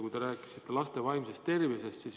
Te rääkisite ka laste vaimsest tervisest.